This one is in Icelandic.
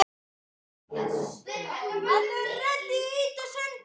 Og nú er ég komin!